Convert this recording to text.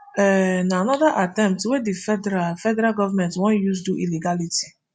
um na anoda attempt wey di federal federal government wan use do illegality